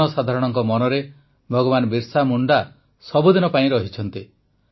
ଜନସାଧାରଣଙ୍କ ମନରେ ଭଗବାନ ବିର୍ସା ମୁଣ୍ଡା ସବୁଦିନ ପାଇଁ ରହିଛନ୍ତି